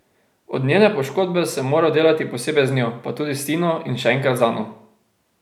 Od njene poškodbe sem moral delati posebej z njo, pa tudi s Tino in še enkrat z Ano.